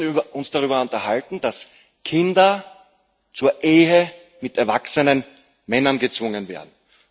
Wir müssen uns darüber unterhalten, dass Kinder zur Ehe mit erwachsenen Männern gezwungen werden.